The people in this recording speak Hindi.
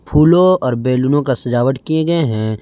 फूलों और बेलूनो का सजावट किए गए हैं।